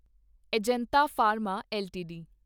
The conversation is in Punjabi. Ajanta Pharma LTD